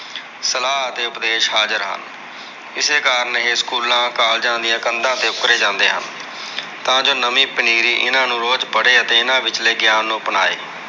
ਸਲਾਹ ਅਤੇ ਉਪਦੇਸ਼ ਹਾਜ਼ਰ ਹਨ। ਇਸੇ ਕਰਕੇ ਇਹ ਸਕੂਲਾਂ, ਕਾਲਜਾ ਦੀਆਂ ਕੰਧਾਂ ਤੇ ਉੱਕਰੇ ਜਾਂਦੇ ਹਨ। ਤਾਂ ਜੋ ਨਵੀ ਪਨੀਰੀ ਇਹਨਾਂ ਨੂੰ ਰੋਜ ਪੜ੍ਹੇ ਅਤੇ ਇਹਨਾਂ ਵਿਚਲੇ ਗਿਆਨ ਨੂੰ ਅਪਣਾਏ।